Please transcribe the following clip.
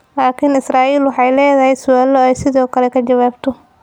Laakiin Israa'iil waxay leedahay su'aalo ay sidoo kale ka jawaabto.